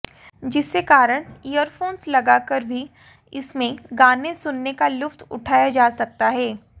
जिसे कारण ईयरफोन्स लगाकर भी इसमें गाने सुनने का लुत्फ उठाया जा सकता है